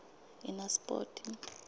enaspoti